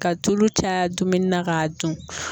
Ka tulu caya dumuni na k'a dun.